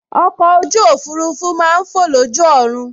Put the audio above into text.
Ọkọ̀ ojú òfurufú máa n fọ̀ lójú ọ̀run